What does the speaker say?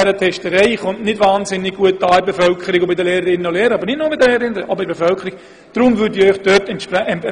Ich merke, dass zu viel Testerei bei den Lehrpersonen, aber auch in der Bevölkerung nicht sehr gut ankommen.